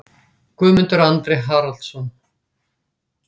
Guðmundur Andri Haraldsson